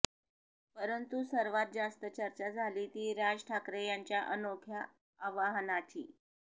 परंतु सर्वात जास्त चर्चा झाली ती राज ठाकरे यांच्या अनोख्या आवाहनाची